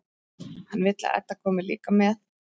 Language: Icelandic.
Hann vill að Edda komi líka með.